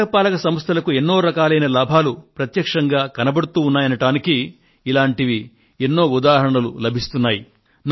నగరపాలక సంస్థలకు ఎన్నో రకాలైన లాభాలు ప్రత్యక్షంగా కనబడుతూ ఉన్నాయనడానికి ఇలాంటి ఎన్నో ఉదాహరణలు లభిస్తున్నాయి